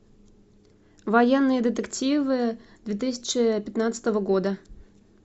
военные детективы две тысячи пятнадцатого года